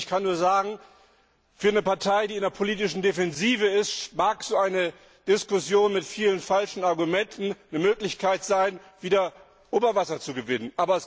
Ich kann nur sagen Für eine Partei, die in der politischen Defensive ist, mag so eine Diskussion mit vielen falschen Argumenten eine Möglichkeit sein, wieder Oberwasser zu gewinnen.